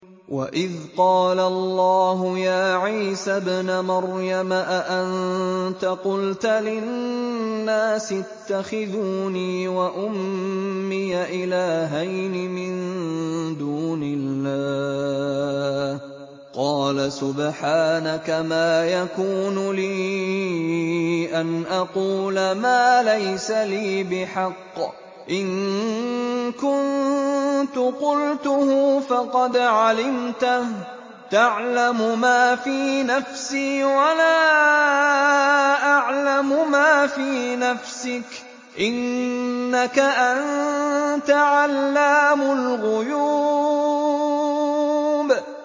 وَإِذْ قَالَ اللَّهُ يَا عِيسَى ابْنَ مَرْيَمَ أَأَنتَ قُلْتَ لِلنَّاسِ اتَّخِذُونِي وَأُمِّيَ إِلَٰهَيْنِ مِن دُونِ اللَّهِ ۖ قَالَ سُبْحَانَكَ مَا يَكُونُ لِي أَنْ أَقُولَ مَا لَيْسَ لِي بِحَقٍّ ۚ إِن كُنتُ قُلْتُهُ فَقَدْ عَلِمْتَهُ ۚ تَعْلَمُ مَا فِي نَفْسِي وَلَا أَعْلَمُ مَا فِي نَفْسِكَ ۚ إِنَّكَ أَنتَ عَلَّامُ الْغُيُوبِ